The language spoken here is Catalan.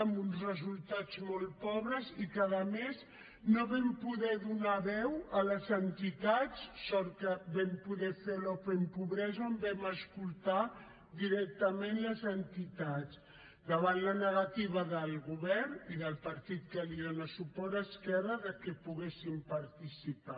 amb uns resultats molt pobres i en què a més no vam poder donar veu a les entitats sort que vam poder fer l’open pobresa on vam escoltar directament les entitats davant la negativa del govern i del partit que li dóna suport esquerra perquè poguessin participar